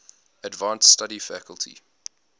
advanced study faculty